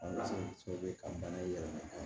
ka bana in yɛlɛma